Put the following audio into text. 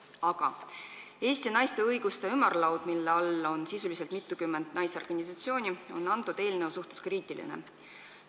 Aga Eesti Naisteühenduste Ümarlaud, mille alla kuulub sisuliselt mitukümmend naisorganisatsiooni, on eelnõu suhtes kriitiline.